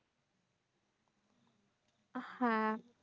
আহ হ্যাঁ